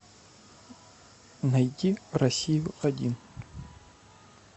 найти россию один